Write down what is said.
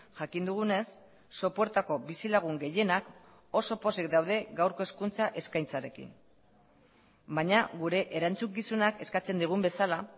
jakin dugunez sopuertako bizilagun gehienak oso pozik daude gaurko hezkuntza eskaintzarekin baina gure erantzukizunak eskatzen digun bezala